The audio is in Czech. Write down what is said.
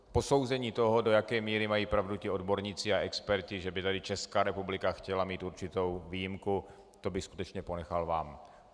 Posouzení toho, do jaké míry mají pravdu ti odborníci a experti, že by tady Česká republika chtěla mít určitou výjimku, to bych skutečně ponechal vám.